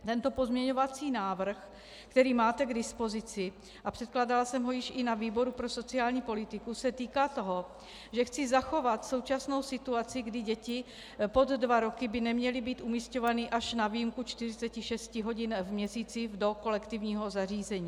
Tento pozměňovací návrh, který máte k dispozici, a předkládala jsem ho již i na výboru pro sociální politiku, se týká toho, že chci zachovat současnou situaci, kdy děti pod dva roky by neměly být umísťované až na výjimku 46 hodin v měsíci do kolektivního zařízení.